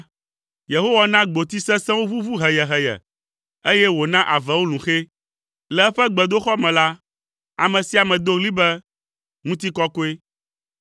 Yehowa na gboti sesẽwo ʋuʋu heyeheye, eye wòna avewo lũ xɛ. Le eƒe gbedoxɔ me la, ame sia ame do ɣli be, “Ŋutikɔkɔe!”